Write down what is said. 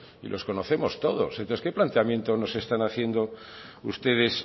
y los conocemos todos entonces qué planteamiento nos están haciendo ustedes